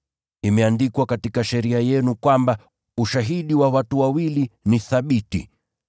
Imeandikwa katika Sheria yenu kwamba, ushahidi wa watu wawili ni thabiti.